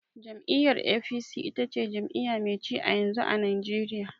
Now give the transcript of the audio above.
Jam'iyyar "A.P.C" ita ce jami'iya mai ci a yanzu, a najeriya